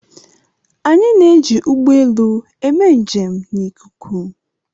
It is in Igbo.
Anyị na-eji ụgbọ elu eme njem n'ikuku.